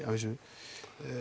að vísu